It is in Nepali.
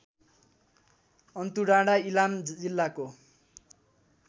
अन्तुडाँडा इलाम जिल्लाको